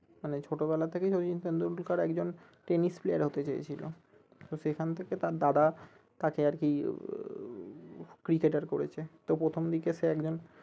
মানে ছোটবেলা থেকে সচিন টেন্ডুলকার একজন tennis player হতে চেয়েছিলো তো সেখান থেকে তার দাদা তাকে আরকি উহ cricketer করেছে তো প্রথমদিকে সে একজন